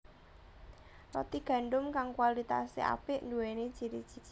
Roti gandum kang kualitasé apik nduwéni ciri ciri